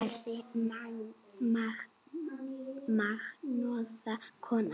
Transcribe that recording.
Þessi magnaða kona.